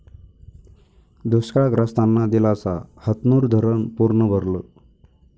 दुष्काळग्रस्तांना दिलासा, हतनूर धरणं पूर्ण भरलं